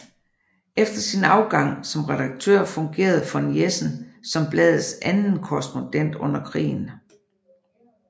Efter sin afgang som redaktør fungerede von Jessen som bladets anden korrespondent under krigen